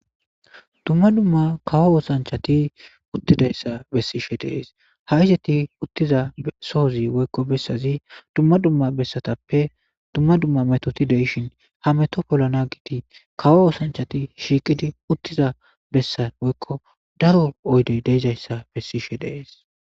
Dumma dumma kawo woosanchati uttidayssa bessishe dees ha izeti uttiza sohozi woykko bessazi dumma dumma bessatappe dumma dumma metoti deishin ha meto pollana giiti kawo woosanchati shiiqidi uttiza bessa woykko daro oydey deizayssa bessishe dees.